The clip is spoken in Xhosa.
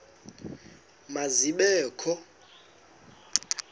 ma zibe kho